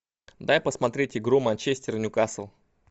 дай посмотреть игру манчестер ньюкасл